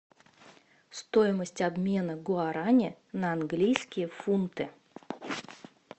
стоимость обмена гуарани на английские фунты